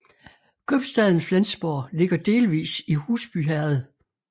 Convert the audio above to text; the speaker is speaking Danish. Købstaden Flensborg ligger delvis i Husby Herred